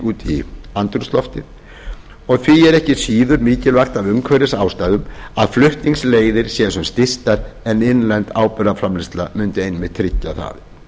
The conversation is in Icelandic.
í andrúmsloftið því er ekki síður mikilvægt af umhverfisástæðum að flutningsleiðir séu sem stystar en innlend áburðarframleiðsla mundi einmitt tryggja það